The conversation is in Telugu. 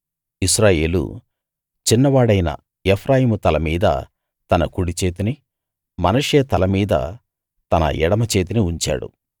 ఇశ్రాయేలు చిన్నవాడైన ఎఫ్రాయిము తల మీద తన కుడిచేతిని మనష్షే తలమీద తన ఎడమచేతిని ఉంచాడు